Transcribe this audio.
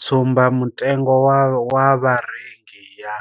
Tsumbamutengo wa vharengi ya